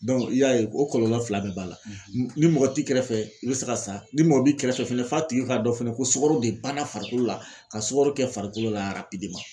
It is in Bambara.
i y'a ye o kɔlɔlɔ fila bɛɛ b'a la ni mɔgɔ t'i kɛrɛfɛ i bɛ se ka sa ni mɔgɔ b'i kɛrɛfɛ fɛnɛ f'a tigi k'a dɔn fɛnɛ ko sukaro de banna farikolo la ka sukaro kɛ farikolo la